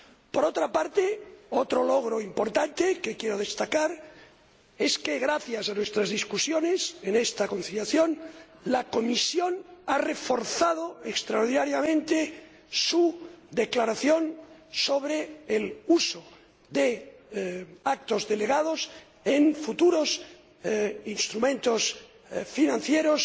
Por otra parte, otro logro importante que quiero destacar es que, gracias a nuestras conversaciones en esta conciliación, la Comisión ha reforzado extraordinariamente su declaración sobre el uso de actos delegados en futuros instrumentos de financiación